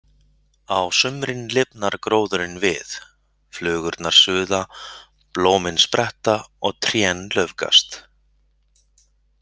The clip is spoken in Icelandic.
Á sumrin lifnar gróðurinn við, flugurnar suða, blómin spretta og trén laufgast.